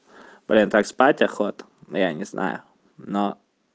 блин так спать охота но я не знаю но